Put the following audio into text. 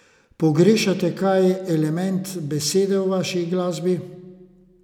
Pogrešate kaj element besede v vaši glasbi?